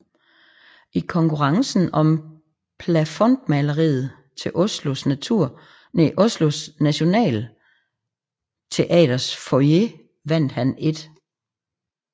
I Konkurrencen om Plafondmaleriet til Oslo Nationalteaters Foyer vandt han 1